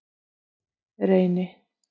Reyni